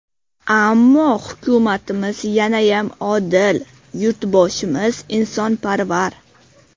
Ammo, hukumatimiz yanayam odil, yurtboshimiz insonparvar.